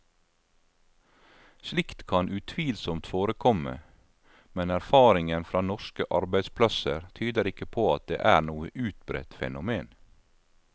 Slikt kan utvilsomt forekomme, men erfaringen fra norske arbeidsplasser tyder ikke på at det er noe utbredt fenomen.